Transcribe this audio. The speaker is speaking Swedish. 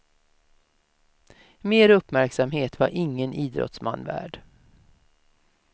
Mer uppmärksamhet var ingen idrottsman värd.